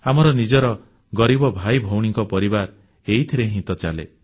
ଆମର ନିଜର ଗରିବ ଭାଇ ଭଉଣୀଙ୍କ ପରିବାର ଏହିଥିରେ ହିଁ ତ ଚାଲେ